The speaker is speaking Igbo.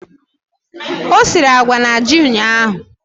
O siri agwa na ji ụnyahụ?